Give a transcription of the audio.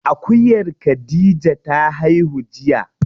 Akuyar khadija ta haihu jiya.